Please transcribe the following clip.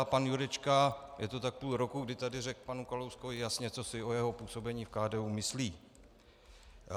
A pan Jurečka - je to tak půl roku, kdy tady řekl panu Kalouskovi jasně, co si o jeho působení v KDU myslí.